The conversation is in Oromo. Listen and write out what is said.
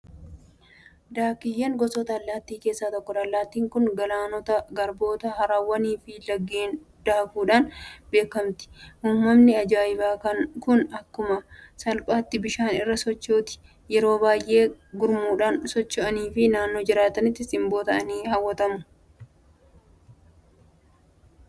Daakkiyyeen gosoota allaattii keessaa tokkodha. Allaattiin kun Galaanota, Garboota, Haroowwaniifi Laggeen daakuudhaan beekamti. Uumamni ajaa'ibaa kun akkuma salphaatti bishaan irra sochooti. Yeroo baay'ee gurmuudhaan waansocho'aniif naannoo jiranitti simboo ta'anii hawwattummaa bakka sanaa dabalu. Bakki jireenya Daakkiyyee eessadha?